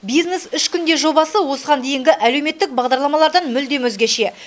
бизнес үш күнде жобасы осыған дейінгі әлеуметтік бағдарламалардан мүлдем өзгеше